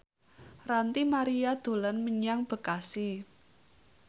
Ranty Maria dolan menyang Bekasi